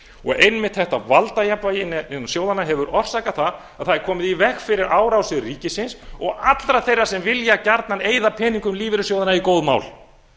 og einmitt þetta valdajafnvægi innan sjóðanna hefur orsakað það að það er komið í veg fyrir árásir ríkisins og allra þeirra sem vilja garnan eyða peningum lífeyrissjóðanna í góð mál